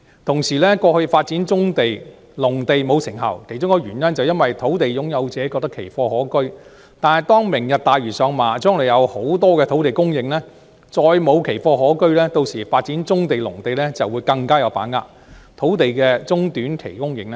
同時，過去發展棕地及農地沒有成效，其中一個原因是土地擁有者覺得奇貨可居，但當"明日大嶼"上馬，將來會有大量土地供應，再無奇貨可居，屆時發展棕地及農地將會更有把握，土地的短中期供應便會更有保證。